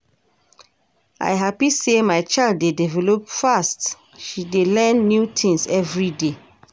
I hapi sey my child dey develop fast, she dey learn new things every day.